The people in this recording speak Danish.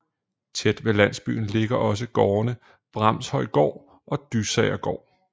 Tæt ved landsbyen ligger også gårdene Bramhøjgård og Dysagergård